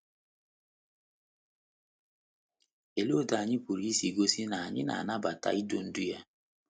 Oleekwa otú anyị pụrụ isi gosi na anyị na - anabata idu ndú ya?